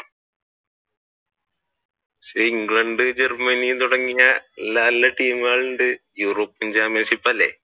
പക്ഷെ England, Germany തുടങ്ങിയ നല്ല ടീമുകൾ ഉണ്ട് European championship അല്ലെ.